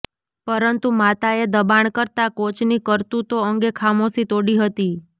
પરંતુ માતાએ દબાણ કરતાં કોચની કરતૂતો અંગે ખામોશી તોડી હતી